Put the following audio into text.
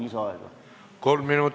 725-st 519!